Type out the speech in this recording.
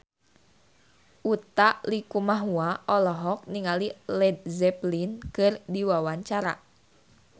Utha Likumahua olohok ningali Led Zeppelin keur diwawancara